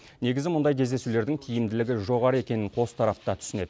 негізі мұндай кездесулердің тиімділігі жоғары екенін қос тарап та түсінеді